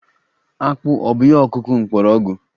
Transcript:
Akpụ ọ̀ bụ ihe ọkụkụ mgbọrọgwụ?